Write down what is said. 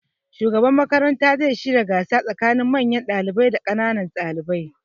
Shugaban makaranta zai shirya gasa tsakanin manyan ɗalibai da ƙananan ɗalibai.